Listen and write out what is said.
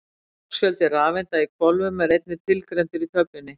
Hámarksfjöldi rafeinda í hvolfum er einnig tilgreindur í töflunni.